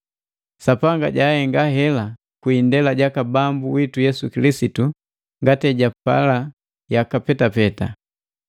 Sapanga jahenga heli kwi indela jaka Bambu witu Yesu Kilisitu ngati ejapala yaka petapeta.